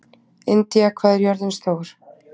Indía, hvað er jörðin stór?